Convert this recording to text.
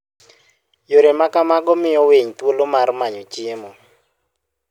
Yore ma kamago miyo winy thuolo mar manyo chiemo.